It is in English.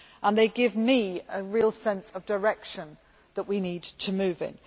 They give me a real sense of the direction that we need to move in.